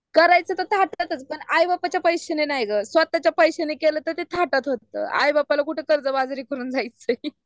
करायचं तर थाटाचग पण आईबापाच्या पैश्याने नाहीग स्वताच्या पैशाने केलतर तर ते थाटातच होतो आई बापाला कुठं कर्ज बाजारी करून जायचंय .